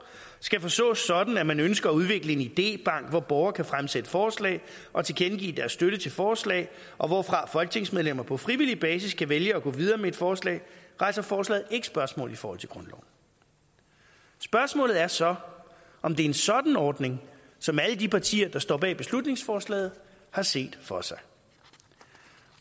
skal forstås sådan at man ønsker at udvikle en idébank hvor borgere kan fremsætte forslag og tilkendegive deres støtte til forslaget og hvorfra folketingsmedlemmer på frivillig basis kan vælge at gå videre med et forslag rejser forslaget ikke spørgsmål i forhold til grundloven spørgsmålet er så om det er en sådan ordning som alle de partier der står bag beslutningsforslaget har set for sig